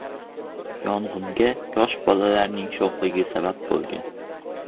Yong‘inga yosh bolalarning sho‘xligi sabab bo‘lgan.